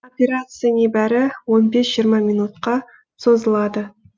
операция небәрі он бес жиырма минутқа созылады